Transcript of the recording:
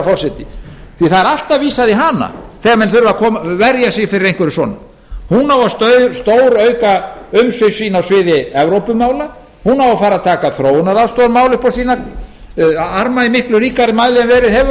forseti alltaf er vísað í hana þegar menn þurfa að verja sig fyrir einhverju svona hún á að stórauka umsvif sín á sviði evrópumála hún á að fara að taka þróunaraðstoðarmál upp á sína arma í miklu ríkar mæli en verið hefur og svo á hún